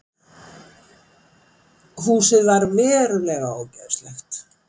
Húsið var verulega ógeðslegt